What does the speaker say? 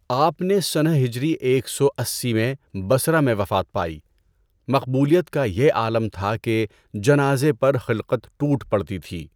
آپ نے سنہ ہجری ایک سو اسّی میں بصرہ میں وفات پائی۔ مقبولیت کا یہ عالم تھا کہ جنازہ پر خلقت ٹوٹ پڑتی تھی۔